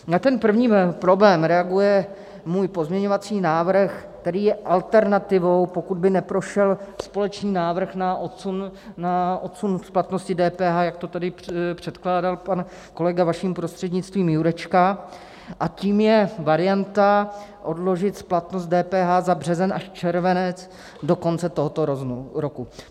Na ten první problém reaguje můj pozměňovací návrh, který je alternativou, pokud by neprošel společný návrh na odsun splatnosti DPH, jak to tady předkládal pan kolega, vaším prostřednictvím, Jurečka, a tím je varianta odložit splatnost DPH za březen až červenec do konce tohoto roku.